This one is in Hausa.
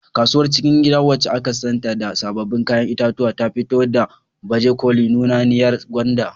Kasuwar cikin gida, wacce aka santa da sabbin kayan itatuwa, ta fito da baje koli nunanniyar gwanda.